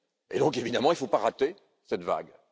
Donc, évidemment, il ne faut pas rater cette vague.